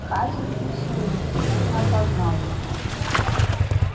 хазин прищурился но не опознал его